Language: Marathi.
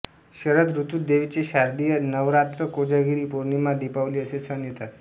शरद ऋतूत देवीचे शारदीय नवरात्रकोजागिरी पौर्णिमा दीपावली असे सण येतात